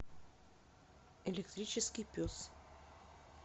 электрический пес